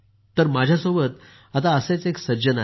माझ्यासोबत आता असेच एक सज्जन आहेत